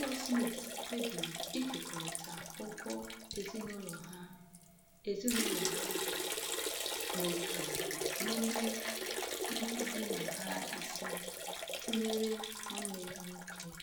Ụlọ Smith kpebiri ịkekọrịta ụgwọ ezinụlọ ha ezinụlọ ha n’otu n’ime ndị bi na ha ise, tinyere nwanne ya nwoke.